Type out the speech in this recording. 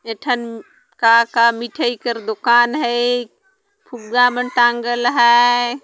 ए ठन का का मिठाई कर दुकान है फुग्गा मन टाँगल हैं।